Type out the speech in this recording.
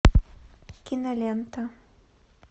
кинолента